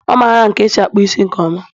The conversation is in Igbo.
Ọ mara ka esi akpụ isi nke ọma